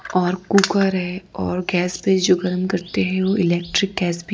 और कुकर है और गैस पे जो गरम करते हैं वो इलेक्ट्रिक गैस भी--